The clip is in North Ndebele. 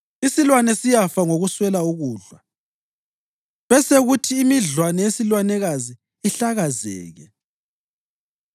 Isilwane siyafa ngokuswela ukudla besekuthi imidlwane yesilwanekazi ihlakazeke.